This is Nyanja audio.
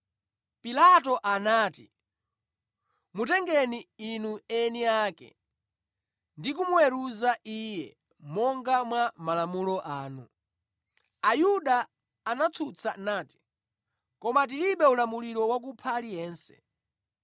Pilato anati, “Mutengeni inu eni ake ndi kumuweruza Iye monga mwa malamulo anu.” Ayuda anatsutsa nati, “Koma tilibe ulamuliro wakupha aliyense.”